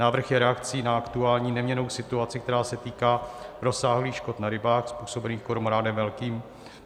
Návrh je reakcí na aktuální neměnnou situaci, která se týká rozsáhlých škod na rybách způsobených kormoránem velkým.